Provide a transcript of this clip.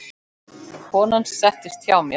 Konan settist hjá mér.